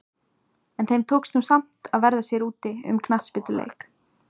En þeim tókst nú samt að verða sér úti um knattspyrnuleik.